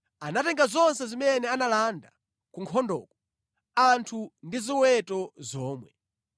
Anatenga zonse zimene analanda ku nkhondoko, anthu ndi zoweta zomwe.